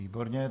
Výborně.